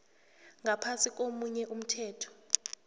ngaphasi komunye umthetho